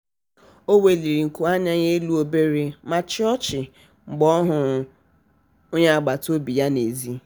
o weliri nku anya elu obere ma chịa ọchị mgbe ọ hụrụ onye agbataobi ya n'ezi.